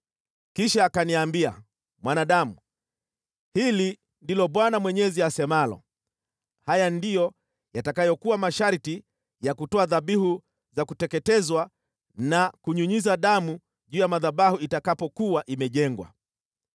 Kisha akaniambia, “Mwanadamu, hili ndilo Bwana Mwenyezi asemalo: Haya ndiyo yatakayokuwa masharti ya kutoa dhabihu za kuteketezwa na kunyunyiza damu juu ya madhabahu itakapokuwa imejengwa.